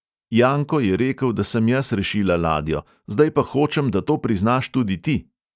"Janko je rekel, da sem jaz rešila ladjo, zdaj pa hočem, da to priznaš tudi ti."